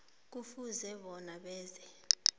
kufuze bona benze